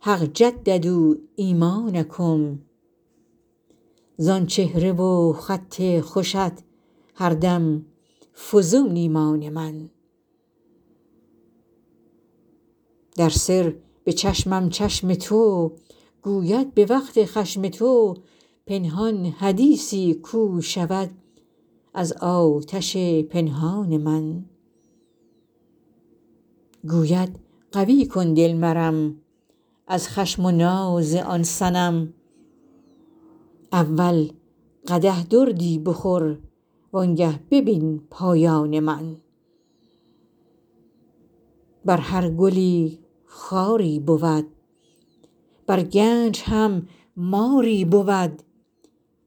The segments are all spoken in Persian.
حق جددوا ایمانکم زان چهره و خط خوشت هر دم فزون ایمان من در سر به چشمم چشم تو گوید به وقت خشم تو پنهان حدیثی کو شود از آتش پنهان من گوید قوی کن دل مرم از خشم و ناز آن صنم اول قدح دردی بخور وانگه ببین پایان من بر هر گلی خاری بود بر گنج هم ماری بود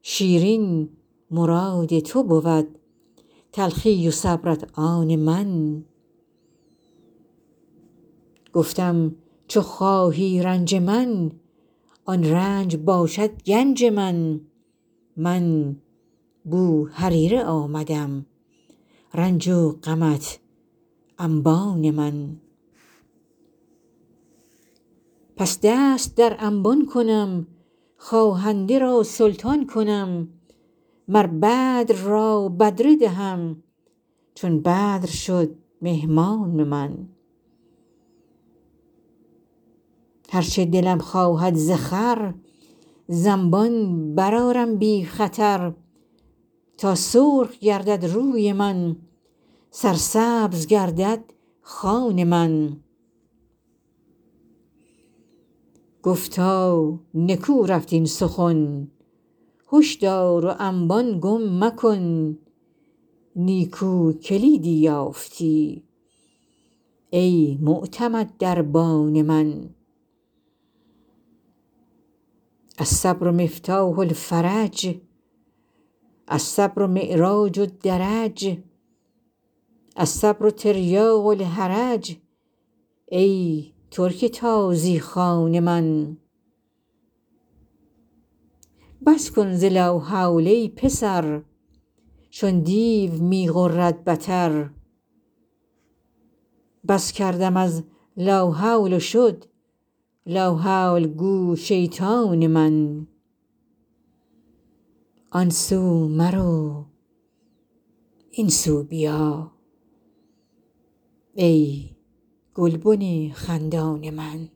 شیرین مراد تو بود تلخی و صبرت آن من گفتم چو خواهی رنج من آن رنج باشد گنج من من بوهریره آمدم رنج و غمت انبان من پس دست در انبان کنم خواهنده را سلطان کنم مر بدر را بدره دهم چون بدر شد مهمان من هر چه دلم خواهد ز خور ز انبان برآرم بی خطر تا سرخ گردد روی من سرسبز گردد خوان من گفتا نکو رفت این سخن هشدار و انبان گم مکن نیکو کلیدی یافتی ای معتمد دربان من الصبر مفتاح الفرج الصبر معراج الدرج الصیر تریاق الحرج ای ترک تازی خوان من بس کن ز لاحول ای پسر چون دیو می غرد بتر بس کردم از لاحول و شد لاحول گو شیطان من